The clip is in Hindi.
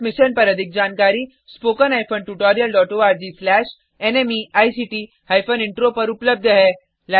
इस मिशन पर अधिक जानकारी httpspoken tutorialorgNMEICT इंट्रो पर उपलब्ध है